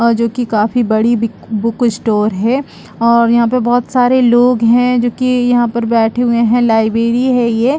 और जो की काफी बड़ी बिक बुक स्टोर है और यहाँ पे बहोत सारे लोग है जो की यहाँ पर बैठे हुए है लाइब्रेरी है ये --